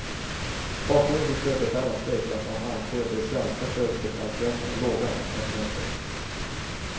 Bakgrunden till sjöbefälens strejk är att man anser de svenska sjöbefälslönerna är låga internationellt sett.